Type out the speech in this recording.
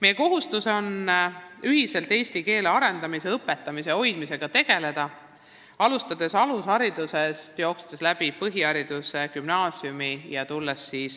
Meie kohustus on ühiselt eesti keele arendamise, õpetamise ja hoidmisega tegeleda, seda juba alustades alusharidusest, jätkates põhikoolis ja gümnaasiumis, kutsekoolis ja kõrgkoolis ning